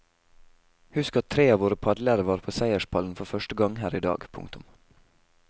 Husk at tre av våre padlere var på seierspallen for første gang her i dag. punktum